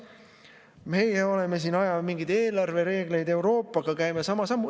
Meie oleme siin, ajame mingeid eelarvereegleid Euroopaga, käime sama sammu.